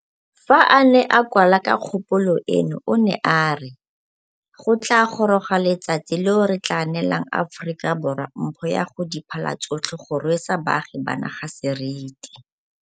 Fa a ne a kwala ka kgopolo eno o ne a re, Go tla goroga letsatsi leo re tla neelang Aforika Borwa mpho ya go di phala tsotlhe go rwesa baagi ba naga seriti.